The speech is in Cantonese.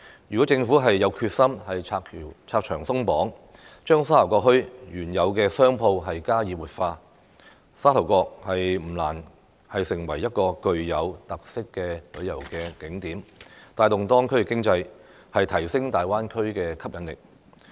如果政府有決心拆牆鬆綁，將沙頭角墟原有的商鋪加以活化，沙頭角不難成為具有特色的旅遊景點，帶動當區的經濟，提升大灣區的吸引力。